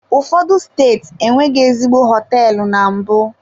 Ụfọdụ steeti enweghị ezigbo hoteelu na mbụ?